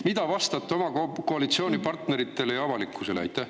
" Mida te vastate oma koalitsioonipartneritele ja avalikkusele?